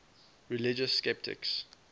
religious skeptics